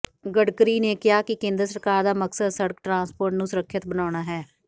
ਗਡਕਰੀ ਨੇ ਕਿਹਾ ਕਿ ਕੇਂਦਰ ਸਰਕਾਰ ਦਾ ਮਕਸਦ ਸੜਕ ਟਰਾਂਸਪੋਰਟ ਨੂੰ ਸੁਰੱਖਿਅਤ ਬਣਾਉਣਾ ਹੈ